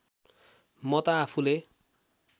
म त आफूले